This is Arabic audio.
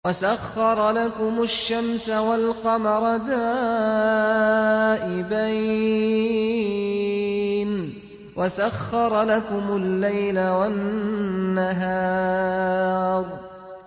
وَسَخَّرَ لَكُمُ الشَّمْسَ وَالْقَمَرَ دَائِبَيْنِ ۖ وَسَخَّرَ لَكُمُ اللَّيْلَ وَالنَّهَارَ